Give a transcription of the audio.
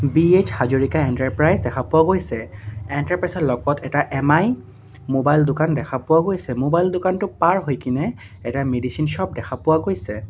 PH Hazarika enterprise দেখা পোৱাও গৈছে এণ্টাৰপ্ৰাইজৰ লগত এটা এম_আই মোবাইল দোকান দেখা পোৱাও গৈছে মোবাইল দোকানটো পাৰ হৈ কিনে এটা মেডিচিন শ্ব'প দেখা পোৱাও গৈছে।